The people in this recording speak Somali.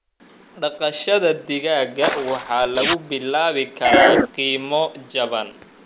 Dhaqashada digaaga waxaa lagu bilaabi karaa qiimo jaban.